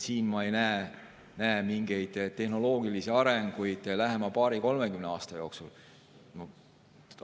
Siin ei näe ma mingeid tehnoloogilisi arenguid lähema paari-kolmekümne aasta jooksul.